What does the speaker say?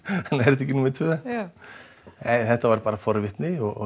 þetta ekki númer tvö nei þetta var bara forvitni og